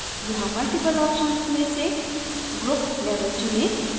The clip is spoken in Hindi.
यहाँ multiple options में से group level चुनें